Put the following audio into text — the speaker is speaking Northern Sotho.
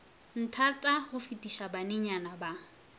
nthata go fetiša banenyana ba